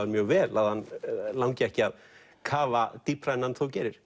mjög vel að hann langi ekki að kafa dýpra en hann þó gerir